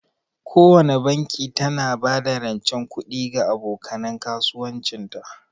Kowana banki tana ba da rancen kuɗi ga aboka nan kasuwancin ta.